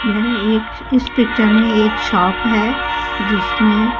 यह एक इस पिक्चर में एक शॉप है जिसमें--